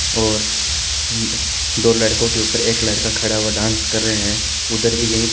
और दो लडको के उपर एक लड़का खड़ा हुआ डांस कर रहे है उधर भी यही --